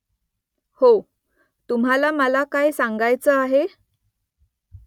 हो . तुम्हाला मला काय सांगायचं आहे ?